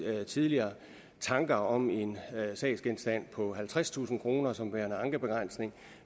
at tidligere tanker om en sagsgenstand på halvtredstusind kroner som værende ankebegrænsning